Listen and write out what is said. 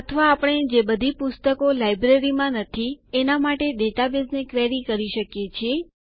અથવા આપણે જે બધી પુસ્તકો લાઈબ્રેરીમાં નથી એના માટે ડેટાબેઝને ક્વેરી કરી શકીએ છીએ